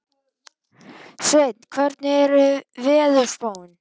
Sveinar, hvernig er veðurspáin?